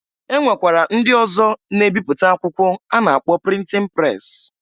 E nwekwara ndị ọzọ na-ebipụta akwụkwọ a na-akpọ printin pres.